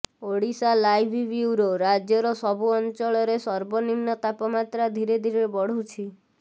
Odisha live bureau ରାଜ୍ୟର ସବୁ ଅଞ୍ଚଳରେ ସର୍ବନିମ୍ନ ତାପମାତ୍ରା ଧିରେ ଧିରେ ବଢୁଛି